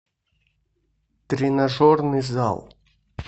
тренажерный зал